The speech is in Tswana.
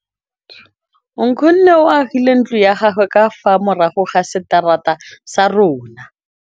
Nkgonne o agile ntlo ya gagwe ka fa morago ga seterata sa rona.